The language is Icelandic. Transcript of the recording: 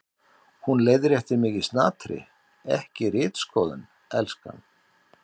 Hún leiðréttir mig í snatri: Ekki ritskoðun, elskan.